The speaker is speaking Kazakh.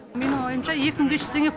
менің ойымша екі мың бес жүз теңге